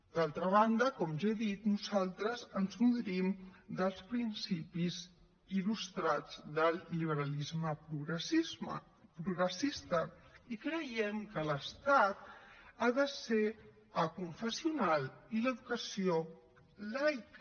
d’altra banda com ja he dit nosaltres ens nodrim dels principis il·lustrats del liberalisme progressista i creiem que l’estat ha de ser aconfessional i l’educació laica